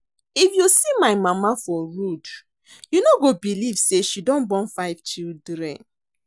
If you see my mama for road you no go believe say she don born five children